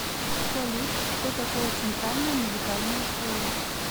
салют что такое центральная музыкальная школа